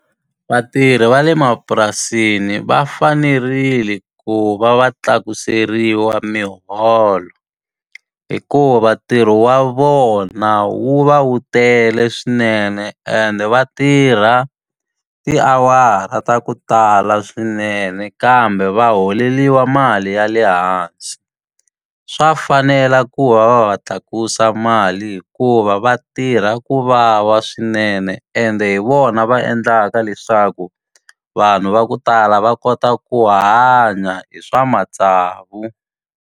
Vatirhi va le mapurasini va fanerile ku va va tlakuseriwa miholo, hikuva tirho wa vona wu va wu tele swinene ende va tirha tiawara ta ku tala swinene kambe va holeriwa mali ya le hansi. Swa fanela ku va va va tlakusa mali hikuva va tirha ku vava swinene, ende hi vona va endlaka leswaku vanhu va ku tala va kota ku hanya hi swa matsavu.